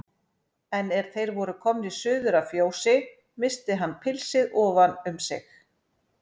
En er þeir voru komnir suður að fjósi missti hann pilsið ofan um sig.